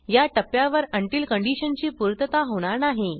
या टप्प्यावर उंटील कंडिशनची पूर्तता होणार नाही